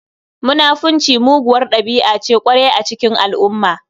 Munafunci muguwar ɗabi'a ce ƙwarai a cikin al'umma.